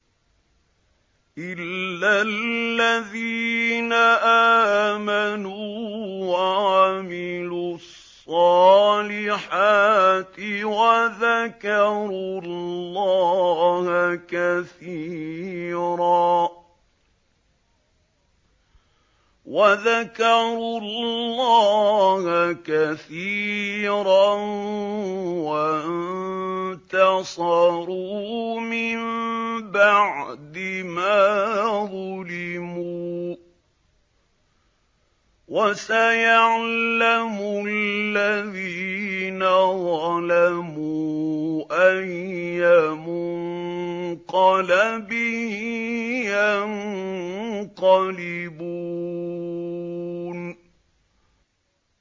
إِلَّا الَّذِينَ آمَنُوا وَعَمِلُوا الصَّالِحَاتِ وَذَكَرُوا اللَّهَ كَثِيرًا وَانتَصَرُوا مِن بَعْدِ مَا ظُلِمُوا ۗ وَسَيَعْلَمُ الَّذِينَ ظَلَمُوا أَيَّ مُنقَلَبٍ يَنقَلِبُونَ